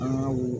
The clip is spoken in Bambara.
An ka wul